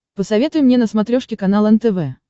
посоветуй мне на смотрешке канал нтв